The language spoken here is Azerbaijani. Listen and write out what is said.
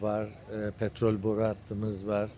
petrol boru hattımız var.